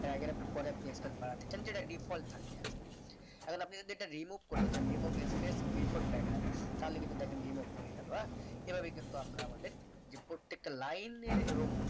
paragraph এর পরে আপনি space বাড়াতে চান যেটা default থাকে আসলে এখন আপনি যদি এটা remove করতে চান remove space before paragraph তাহলে কিন্তু দেখেন remove হয়ে গেলো আহ এইভাবে কিন্তু আমরা আমাদের যে প্রত্যেকটা লাইনের এবং